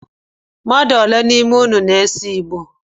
Mmmadụ ole n’ime inu na-ese Igbo?